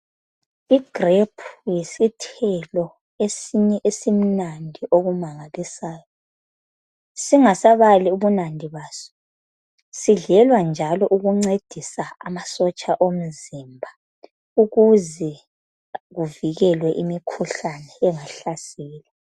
I grape yisithela esimnandi okumangalisayo singasabali ubunandi baso sidlenjalo sidlelwa kuze kuvikelwe imikhuhlane eminengi engahlasela.